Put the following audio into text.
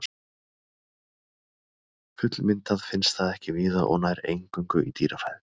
Fullmyndað finnst það ekki víða og nær eingöngu í dýrafæðu.